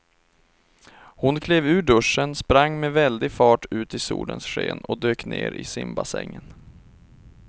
Hon klev ur duschen, sprang med väldig fart ut i solens sken och dök ner i simbassängen.